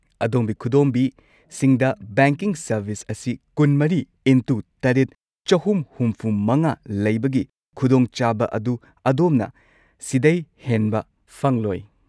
ꯑꯗꯣꯝꯒꯤ ꯈꯨꯗꯣꯝꯕꯤꯁꯤꯡꯗ banking service ꯑꯁꯤ ꯲꯴x꯷, ꯳꯶꯵ ꯂꯩꯕꯒꯤ ꯈꯨꯗꯣꯡꯆꯥꯕ ꯑꯗꯨ ꯑꯗꯣꯝꯅ ꯁꯤꯗꯩ ꯍꯦꯟꯕ ꯐꯪꯂꯣꯏ꯫